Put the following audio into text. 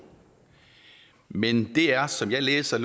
men det er som jeg læser